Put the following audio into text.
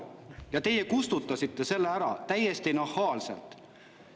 Aga teie kustutasite selle ära – täiesti nahaalselt!